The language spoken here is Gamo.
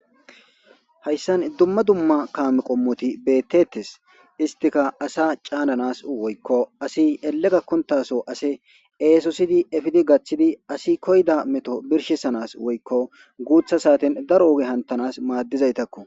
Haysan duma duma kame qomoti betetes istika asa cananas woyko asi rlle gakontaso esosidi epidi gathidi asi koyza meto birshisanas gutha saten daro oge hantanas madizaytako